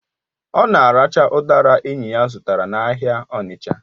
Ọ na-aracha udara enyi ya zụtara n'ahịa Onicha